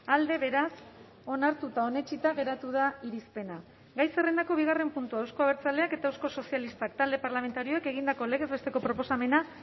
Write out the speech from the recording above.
alde beraz onartuta onetsita geratu da irizpena gai zerrendako bigarren puntua euzko abertzaleak eta euskal sozialistak talde parlamentarioek egindako legez besteko proposamena